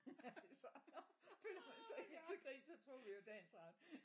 Så føler man sig helt til grin så tog vi jo dagens ret